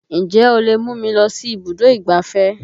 Ǹjẹ́ o lè mú mi lọ sí ibùdó ìgbáfẹ́?